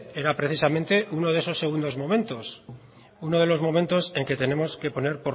era precisamente uno de esos segundos momentos uno de los momentos en que tenemos que poner